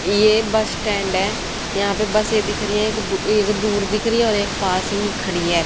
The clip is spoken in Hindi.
ये बस स्टैंड है यहां पे बसे दिख रही हैं एक दूर दिख रही है और एक पास ही खड़ी है।